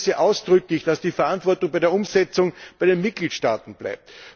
Ich begrüße ausdrücklich, dass die Verantwortung bei der Umsetzung bei den Mitgliedstaaten bleibt.